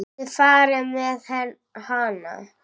Það var farið með hana.